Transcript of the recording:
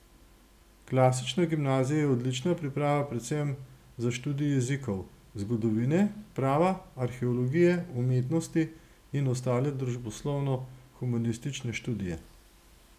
Klasična gimnazija je odlična priprava predvsem za študij jezikov, zgodovine, prava, arheologije, umetnosti in ostale družboslovno humanistične študije.